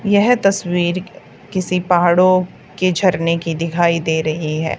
यह तस्वीर किसी पहाड़ों के झरने की दिखाई दे रही है।